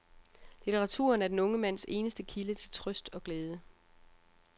Litteraturen er den unge mands eneste kilde til trøst og glæde.